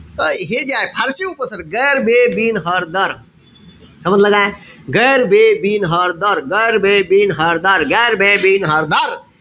हे जे आहे फारशी उपसर्ग. गैर, बे, बिन, हर, दर. समजलं काय? गैर, बे, बिन, हर, दर. गैर, बे, बिन, हर, दर. गैर, बे, बिन, हर, दर.